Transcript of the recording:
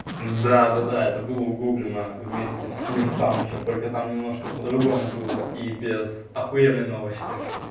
да-да-да это была углублено вместе с клим санычем только там немножко по-другому было и без ахуенный новости